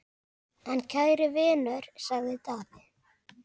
En kæri vinur, sagði Daði.